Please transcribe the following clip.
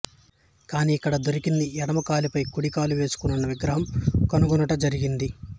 కానీ ఇక్కడ దొరికింది ఎడమ కాలుపై కుడి కాలు వేసుకునివున్న విగ్రహం కనుగొనుట జరిగింది